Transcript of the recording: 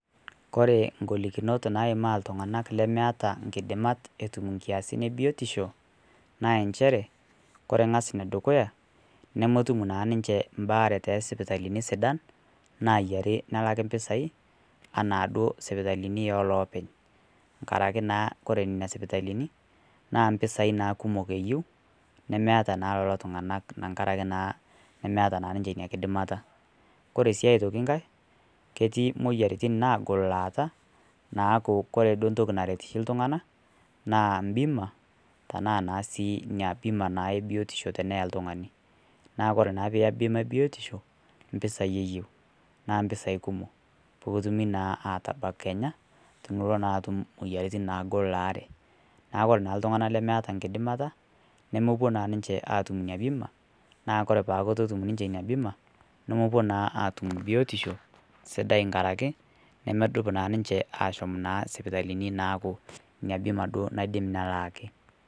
kore ngholikinot naimaa ltunganak lemeataa nkidimat etum nkiasin ee biotishoo naa ensheree kore ngaz nodukuyaa nomotum naa ninshee mbaare te sipitalinii sidan nayarii pelakii mpisai anaa duo sipitalini ee lopeny ngarakee naa kore nenia sipitalinii naa mpisai kumok naa eyeu nemeataa naa loloo tunganak tangarakee naa meataa naa ninshee inia kidimataa kore sii otokii ghai naa ketii moyaritin nagol laata naaku kore duo ntokii shii duo ntokii naret ltunganaa naa mbimaa tanaa naa sii inia bimaa ee biotishoo teneyaa ltunganii naa kore naa piiya bima ee biotishoo mpisai eyeu naa mpisai kumok pootumi naa atabak kenyaa tiniloo naa atum moyaritin naagol laare . Naaku kore naa ltunganak lemeata nkidimata nomopuo naa ninshee atum inia bimaa naaku kore peaku etuu etum ninshee inia bimaa nomopuo naa atum biotishoo sidai tankarakee nomodup naa ninshee ashom nenia sipitalini naaku inia bimaa duo naidim nalaaki.